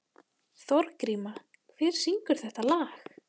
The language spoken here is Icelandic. Þorgríma, hver syngur þetta lag?